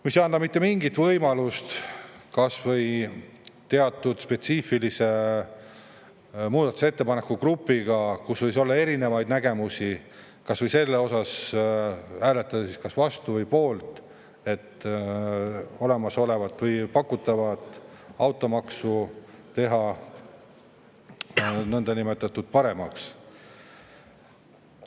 See ei anna mitte mingit võimalust hääletada kas või teatud spetsiifiliste muudatusettepanekute gruppi, sest ettepanekus erinevaid nägemusi, nii et ei saa hääletada, kas olla vastu või poolt, kui olemasolevat või pakutavat automaksu paremaks teha.